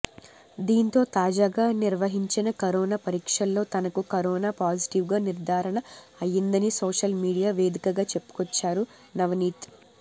దీంతో తాజాగా నిర్వహించిన కరోనా పరీక్షల్లో తనకూ కరోనా పాజిటివ్గా నిర్ధారణ అయిందని సోషల్ మీడియా వేదికగా చెప్పుకొచ్చారు నవనీత్